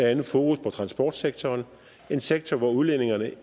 andet fokus på transportsektoren en sektor hvor udledningerne